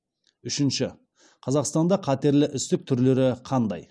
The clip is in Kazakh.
үшінші қазақстанда қатерлі ісік түрлері қандай